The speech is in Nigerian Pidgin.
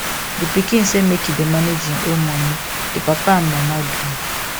di pikin say make e dey manage im own money di papa and mama gree